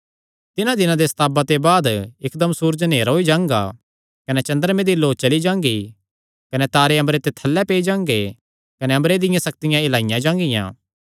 तिन्हां दिनां दे सताव दे बाद इकदम सूरज नेहरा होई जांगा कने चन्द्रमे दी लौ चली जांगी कने तारे अम्बरे ते थल्लै पेई जांगे कने अम्बरे दियां सक्तियां हिलाईयां जागियां